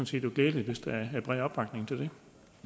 set glædeligt hvis der er bred opbakning til